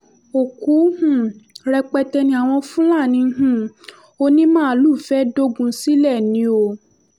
òkú um rẹpẹtẹ ni àwọn fúlàní um onímáàlú fẹ́ẹ́ dogun sílẹ̀ ni o